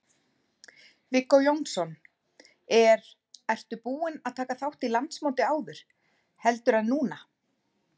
Viggó Jónsson: Er, ertu búin að taka þátt í landsmóti áður, heldur en núna?